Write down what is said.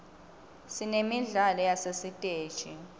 sinemidlalo yasesitesi